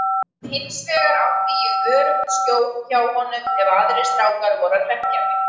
Hinsvegar átti ég öruggt skjól hjá honum ef aðrir strákar voru að hrekkja mig.